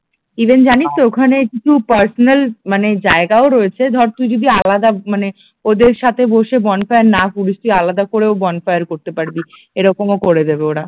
even জানিস তো ওখানে কিছু পার্সোনাল মানে জায়গাও রয়েছে ধর তুই যদি আলাদা মানে ওদের সাথে বসে বনফায়ার না করিস তুই আলাদা করেও বনফায়ার করতে পারবি এরকমও করে দেবে ওরা